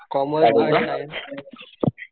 commerce कि science